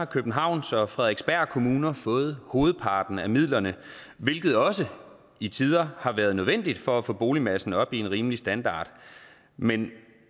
københavns og frederiksberg kommuner fået hovedparten af midlerne hvilket også i tider har været nødvendigt for at få boligmassen op i en rimelig standard men